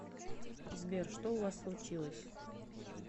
сбер что у вас случилось